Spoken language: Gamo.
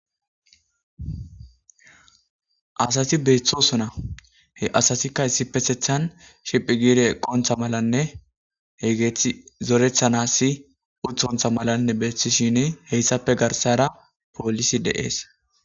Assati betosona he assati issipetethani shiphi giddi eqonitta malanne etti zoretanasi ettappe garissara